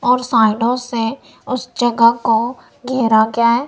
और साइडों से उस जगह को घेरा गया है।